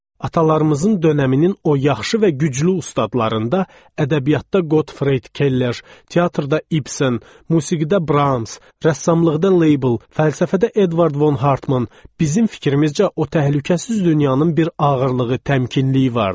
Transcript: Atalarımızın dönəminin o yaxşı və güclü ustadlarında ədəbiyyatda Gottfrid Keller, teatrda Ibsen, musiqidə Brahms, rəssamlıqda Label, fəlsəfədə Eduard von Hartmann bizim fikrimizcə o təhlükəsiz dünyanın bir ağırlığı, təmkinliyi vardı.